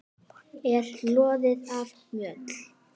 er loðið af mjöll.